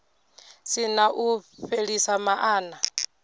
si na u fhelisa maana